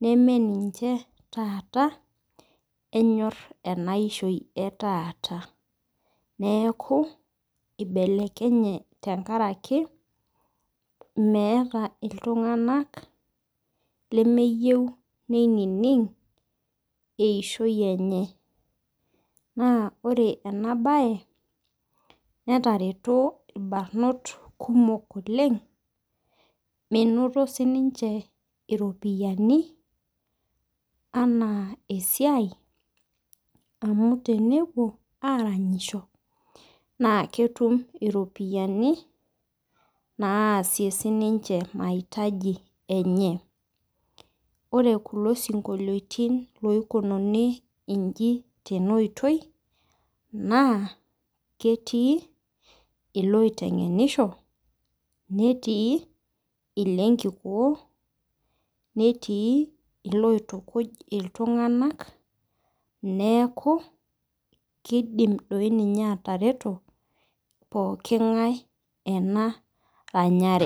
nemeninche taata enyor enaishamoi etaata neaku ibelekenye tenkaraki meeta ltunganak lemeyieu nining eishoi enye neaku ore enabae natareto irbarnot kumok oleng minoto ropiyani ana esiai amu tenepuo aranyisho na ketum iropiyiani naasie sininche naitaji enye lre kulo sinkoliotin oikunari nji na ketii iloitengenisho netii lenkikoo netii loituku ltunganak neaku kidim atareto pooki ngae enaranyare.